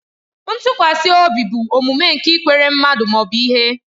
Ntụkwasị obi bụ omume nke ikwere mmadụ ma ọ bụ ihe.